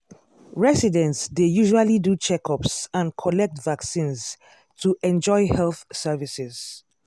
residents dey usually do checkups and collect vaccines to enjoy health services.